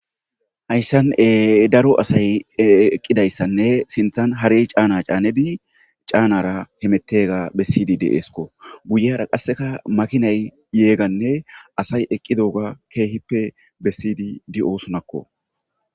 Hayssan e daro asay eqqidayssanne sinthan harey caana caanedi caanara hemettega bessidi deeesko guyera qasseka makinay yeeganne asay eqqidooga keehippe bessiydi di oosunakko